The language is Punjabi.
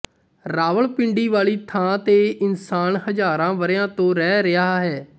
ਰਾਵਲਪਿੰਡੀ ਵਾਲੀ ਥਾਂ ਤੇ ਇਨਸਾਨ ਹਜ਼ਾਰਾਂ ਵਰਿਆਂ ਤੋਂ ਰਹਿ ਰਿਹਾ ਹੈ